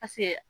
Paseke